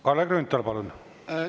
Kalle Grünthal, palun!